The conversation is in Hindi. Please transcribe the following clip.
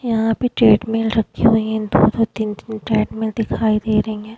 यहाँ भी ट्रेडमिल रखी हुई है दो दो तीन तीन ट्रेडमिल दिखाई दे रही है।